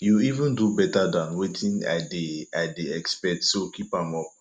you even do beta dan wetin i dey i dey expect so keep am up